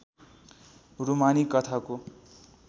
रूमानी कथाको